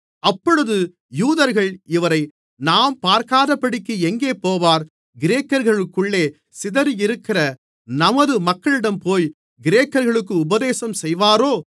அப்பொழுது யூதர்கள் இவரை நாம் பார்க்காதபடிக்கு எங்கே போவார் கிரேக்கர்களுக்குள்ளே சிதறியிருக்கிற நமது மக்களிடம் போய் கிரேக்கர்களுக்கு உபதேசம் செய்வாரோ